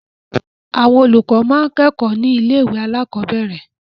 Àwọn olùkọ́ máa ń kẹ́kọ̀ọ́ ní ilé-ìwé alákọ̀ọ́bẹ̀rẹ̀.